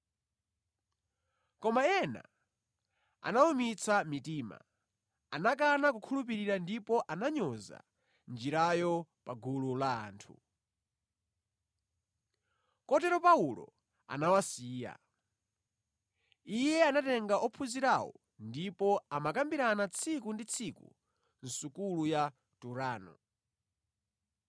Koma ena anawumitsa mitima; anakana kukhulupirira ndipo ananyoza Njirayo pa gulu la anthu. Kotero Paulo anawasiya. Iye anatenga ophunzirawo ndipo amakambirana tsiku ndi tsiku mʼsukulu ya Turano.